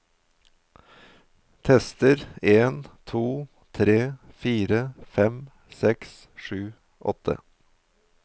Tester en to tre fire fem seks sju åtte